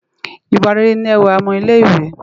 iwá réré ni èwá òmò ilé iwè